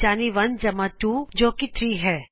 ਯਾਨੀ 1 ਜਮ੍ਹਾ 2 ਜੋ ਕੀ 3 ਹੈ